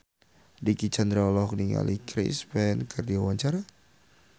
Dicky Chandra olohok ningali Chris Pane keur diwawancara